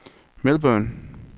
Melbourne